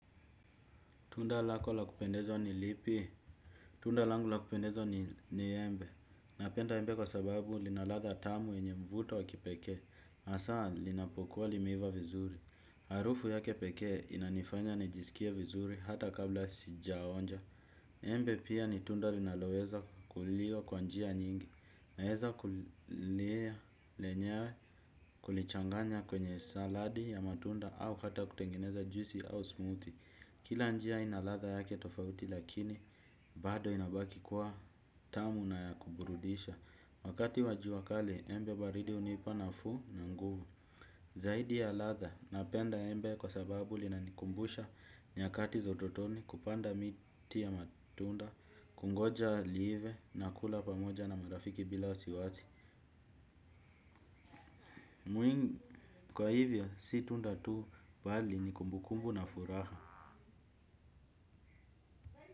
Tunda lako lakupendeza ni lipi? Tunda langu lakupendeza ni embe. Napenda embe kwa sababu linaladha tamu yenye mvuto wakipekee. Hasaa linapokuwa limeiva vizuri. Harufu yake pekee inanifanya nijisikie vizuri hata kabla sijaonja. Embe pia ni tunda linaloweza kuliwa kwa njia nyingi. Naeza kuliea lenyewe kulichanganya kwenye saladi ya matunda au hata kutengeneza juisi au smoothie. Kila njia ina latha yake tofauti lakini bado inabaki kwa tamu na ya kuburudisha. Wakati wa jua kali embe baridi hunipa nafuu na nguvu. Zaidi ya latha napenda embe kwa sababu linanikumbusha nyakati za utotoni kupanda miti ya matunda. Kungoja liive na kula pamoja na marafiki bila wasi wasi. Mwingi kwa hivyo si tunda tuu bali ni kumbukumbu na furaha.